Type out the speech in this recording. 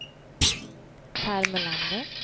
Pär Melander